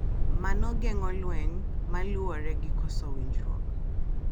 Mano geng’o lweny ma luwore gi koso winjruok.